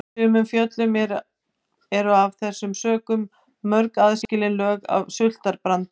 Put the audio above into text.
Í sumum fjöllum eru af þessum sökum mörg aðskilin lög af surtarbrandi.